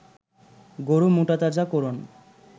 গরু মোটাতাজা করন